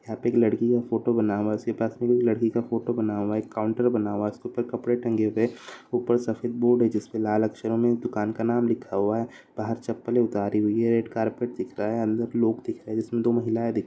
यहाँ पे एक लड़की का फोटो बना हुआ उसके पास एक लड़की का फोटो बना हुआ है एक काउंटर बना हुआ है उसके ऊपर कपड़े टंगे हुए है ऊपर सफ़ेद बोर्ड है जिसमें लाल अक्षरों दुकान का नाम लिखा हुआ है बाहर चप्पले उतारी हुई है रेड कारपेट दिख रहा है अंदर लोग दिख रहे है जिसमे दो महिलाएँ दिख --